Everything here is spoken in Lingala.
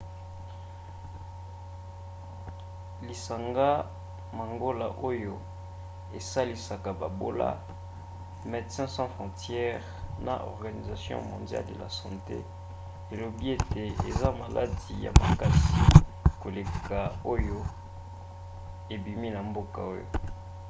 lisanga mangola oyo esalisaka babola medecines sans frontieres na organisation mondiale de la sante elobi ete eza maladi ya makasi koleka oyo ebimi na mboka oyo